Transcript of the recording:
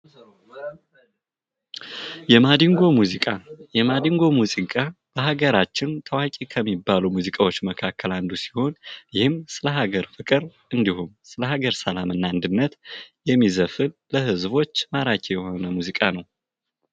የማዲንጎ ሙዚቃ፤ የማዲንጎ ሙዚቃ በሃገራችን ታዋቂ ከሚባሉ ሙዚቃዎች መካከል አንዱ ሲሆን ይህም ስለ ሃገር ፍቅር እንዲሁም ስለሃገር ሰላም እና አንድነት የሚዘፈን፤ ለህዝቦች ማራኪ የሆነ ሙዚቃ ነው።